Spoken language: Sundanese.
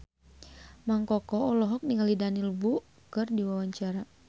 Mang Koko olohok ningali Daniel Wu keur diwawancara